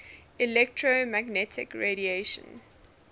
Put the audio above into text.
electromagnetic radiation